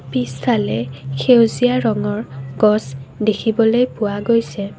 পিছফালে সেউজীয়া ৰঙৰ গছ দেখিবলৈ পোৱা গৈছে।